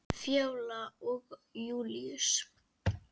Fjóla og Júlíus.